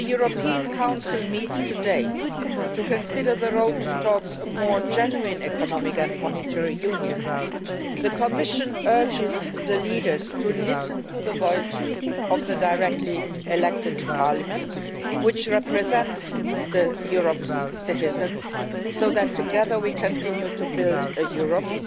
in. As the European Council meets today to consider the path towards a more genuine Economic and Monetary Union, the Commission urges the leaders to listen to the voice of the directly elected Parliament, which represents Europe's citizens, so that together we can continue to build a Europe